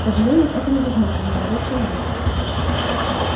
к сожалению это невозможно молодой человек